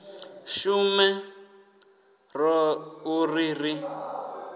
shume roṱhe u ri ri